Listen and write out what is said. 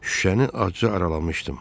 Şüşəni acı aralamışdım.